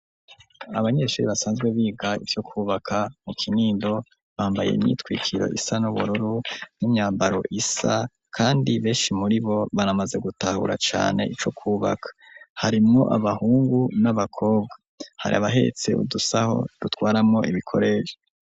Abanyeshuri basanzwe biga iryo kubaka mu kinindo bambaye imyitwikiro isa n'ubururu n'imyambaro isa kandi benshi muri bo banamaze gutahura cane ico kubaka Harimwo abahungu n'abakobwa hari abahetse udusaho dutwaramo ibikorere.